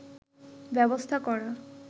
ব্যবস্থা করা